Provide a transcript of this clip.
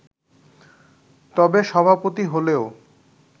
তবে, সভাপতি হলেও